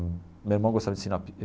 Meu irmão gostava de ensinar